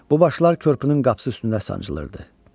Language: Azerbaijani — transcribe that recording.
Bu başlar körpünün qapısı üstündə sancılırdı.